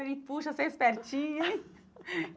Ele, poxa, você é espertinha hein.